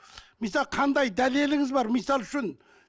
мысалы қандай дәлеліңіз бар мысалы үшін